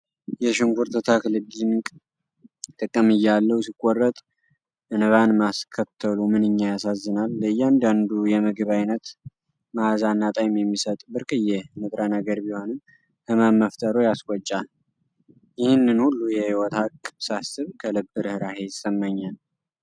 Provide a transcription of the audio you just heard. የሽንኩርት ተክል ድንቅ ጥቅም እያለው ሲቆረጥ እንባን ማስከተሉ ምንኛ ያሳዝናል! ለእያንዳንዱ የምግብ አይነት መዓዛና ጣዕም የሚሰጥ ብርቅዬ ንጥረ ነገር ቢሆንም ህመም መፍጠሩ ያስቆጫል። ይህንን ሁሉ የሕይወት ሀቅ ሳስብ ከልብ ርኅራኄ ይሰማኛል።